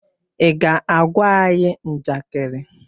Ị ga-agwa anyị njakịrị?